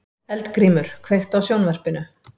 Eldgrímur, kveiktu á sjónvarpinu.